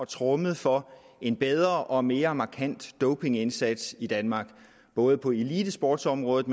tromme for en bedre og mere markant dopingindsats i danmark både på elitesportsområdet